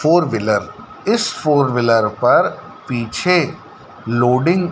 four wheeler इस four wheeler पर पीछे लोडिंग --